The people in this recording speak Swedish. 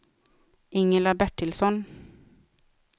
Ingela Bertilsson